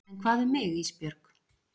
En hvað um mig Ísbjörg?